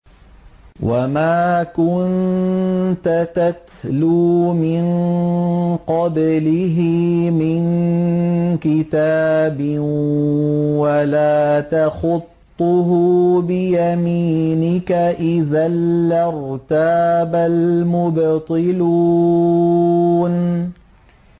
وَمَا كُنتَ تَتْلُو مِن قَبْلِهِ مِن كِتَابٍ وَلَا تَخُطُّهُ بِيَمِينِكَ ۖ إِذًا لَّارْتَابَ الْمُبْطِلُونَ